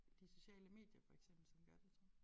De sociale medier for eksempel som gør det tror